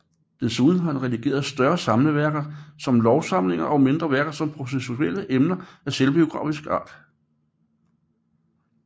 Desuden har han redigeret større samleværker som lovsamlinger og mindre værker om især processuelle emner og af selvbiografisk art